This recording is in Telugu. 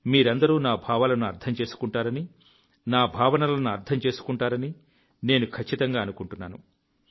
మీరందరూ నా భావాలను అర్థం చేసుకుంటారని నా భావనలను అర్థం చేసుకుంటారని నేను ఖచ్చితంగా అనుకుంటున్నాను